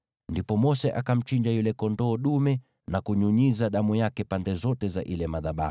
Ndipo Mose akamchinja yule kondoo dume na kunyunyiza damu yake pande zote za madhabahu.